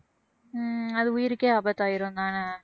உம் அது உயிருக்கே ஆபத்தாயிரும் தான